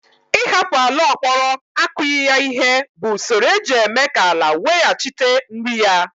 Ịhapụ ala ọ kpọrọ akughi ya ihe bụ usoro eji eme ka ala weghachite nri ya